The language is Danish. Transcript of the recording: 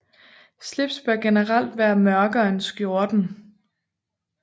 Slips bør generelt være mørkere end skjorten